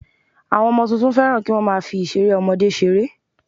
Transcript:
Àwọn ọmọ tuntun fẹ́ràn kí wọ́n má a fi ìseré ọmọdé seré